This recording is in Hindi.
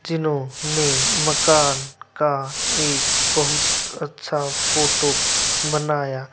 जीनोने मकान का एक बहुत अच्छा फोटो बनाया--